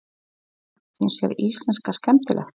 Sunna: Finnst þér íslenska skemmtileg?